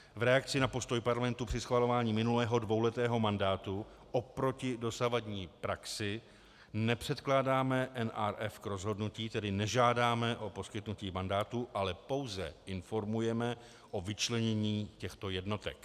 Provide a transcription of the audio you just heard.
V reakci na postoj Parlamentu při schvalování minulého dvouletého mandátu oproti dosavadní praxi nepředkládáme NRF k rozhodnutí, tedy nežádáme o poskytnutí mandátu, ale pouze informujeme o vyčlenění těchto jednotek.